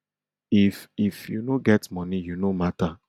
if if you no get money you no mata